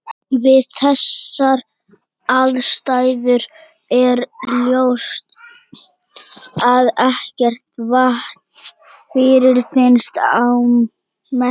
Við þessar aðstæður er ljóst að ekkert vatn fyrirfinnst á Merkúr.